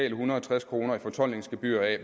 en hundrede og tres kroner i fortoldningsgebyr